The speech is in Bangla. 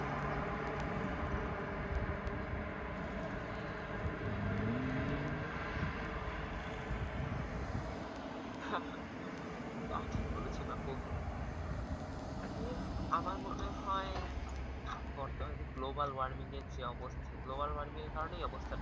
তা ঠিক বলেছেন আপু, এ আমার মনে হয় বর্তমান এ global warming এর যে অবস্থা global warming এর কারণেই এই অবস্থাটা